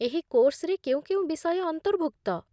ଏହି କୋର୍ସରେ କେଉଁ କେଉଁ ବିଷୟ ଅନ୍ତର୍ଭୁକ୍ତ?